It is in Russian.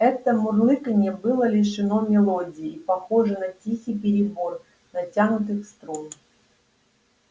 это мурлыканье было лишено мелодии и похоже на тихий перебор натянутых струн